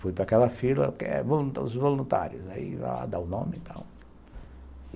Fui para aquela fila, os voluntários, aí ia lá dar o nome e tal.